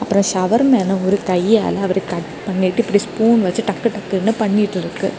இந்த ஷவர்மேல ஒரு கையால அவர் கட் பண்ணிட்டு இப்டி ஸ்பூன் வெச்சு டக்கு டக்குனு பண்ணிட்டு இருக்கு.